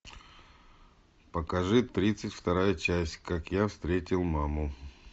покажи тридцать вторая часть как я встретил маму